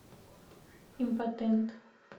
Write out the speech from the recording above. импотент